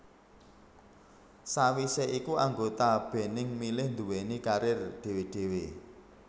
Sawisé iku anggota Bening milih nduwéni karir dhewé dhewé